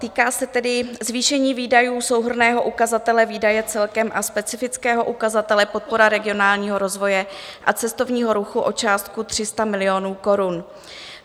Týká se tedy zvýšení výdajů souhrnného ukazatele výdaje celkem a specifického ukazatele Podpora regionálního rozvoje a cestovního ruchu o částku 300 milionů korun.